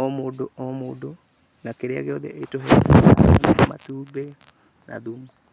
o mũndũ o mũndũ na kĩrĩa gĩothe ĩtũheaga na matumbĩ na thumu.